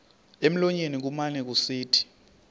emlonyeni kumane kusithi